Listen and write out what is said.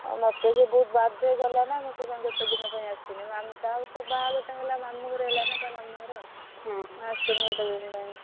ହଁ ମତେ ସିଏ ବହୁତ୍ ବାଧ୍ୟ କଲାନା ମୁଁ ସେଇଥି ପାଇଁ ଗୋଟେ ଦିନ ପାଇଁ ଆସିନି ତା ପରେ ତ ବାହାଘର ଟା ହେଲା ମାମୁଁ ଘରେ ହେଲାନା ତା ମାମୁଁ ଘରେ ହଁ। ମୁଁ ଆସିନି ଗୋଟେ ଦିନ ପାଇଁ।